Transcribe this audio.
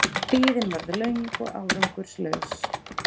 Biðin varð löng og árangurslaus.